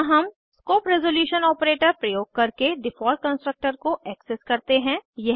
यहाँ हम scope resolution operator प्रयोग करके डिफ़ॉल्ट कंस्ट्रक्टर को एक्सेस करते हैं